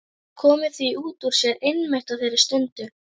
Komið því út úr sér einmitt á þeirri stundu.